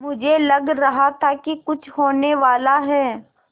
मुझे लग रहा था कि कुछ होनेवाला है